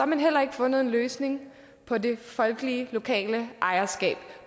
man heller ikke fundet en løsning på det folkelige og lokale ejerskab